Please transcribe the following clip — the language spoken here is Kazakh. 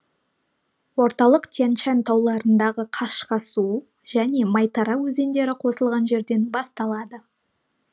орталық тянь шань тауларындағы қашқасу және майтара өзендері қосылған жерден басталады